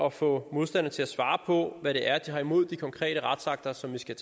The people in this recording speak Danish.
at få modstanderne til at svare på hvad det er de har imod de konkrete retsakter som vi skal